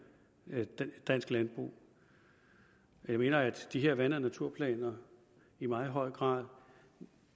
dansk landbrug jeg mener at de her vand og naturplaner i meget høj grad